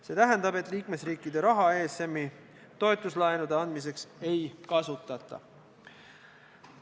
See tähendab, et liikmesriikide raha ESM-i toetuslaenude andmiseks ei kasutata.